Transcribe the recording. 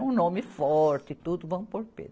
É um nome forte e tudo, vamos por Pedro.